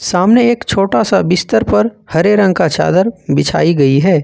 सामने एक छोटा सा बिस्तर पर हरे रंग का चादर बिछाई गई है।